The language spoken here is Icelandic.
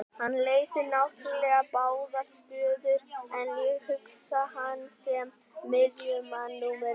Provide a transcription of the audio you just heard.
Hann leysir náttúrulega báðar stöður en ég hugsa hann sem miðjumann númer eitt.